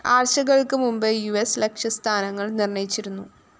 ആഴ്ചകള്‍ക്ക് മുമ്പേ യുഎസ് ലക്ഷ്യ സ്ഥാനങ്ങള്‍ നിര്‍ണ്ണയിച്ചിരുന്നു